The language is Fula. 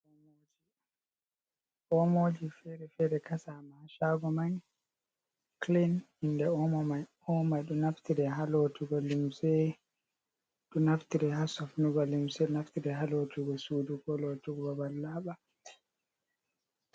Omoji fere-fere kasama ha chago man clen inde omo mai ɗo omo mai ɗo naftire ha lotugo limse, ɗo naftire ha sofnugo limse, naftire ha lotugo sudu ko lotugo babal laɓa.